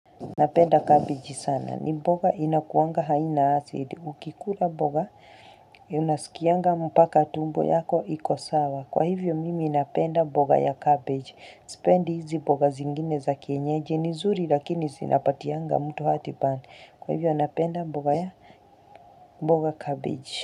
Napenda cabbage sana. Ni mboga inakuanga haina acid. Ukikula mboga unasikianga mpaka tumbo yako iko sawa. Kwa hivyo mimi napenda mboga ya cabbage. Sipendi hizi mboga zingine za kienyeji. Ni nzuri lakini sinapatianga mtu heart burn. Kwa hivyo napenda mboga ya mboga cabbage.